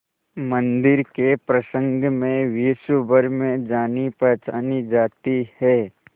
मंदिर के प्रसंग में विश्वभर में जानीपहचानी जाती है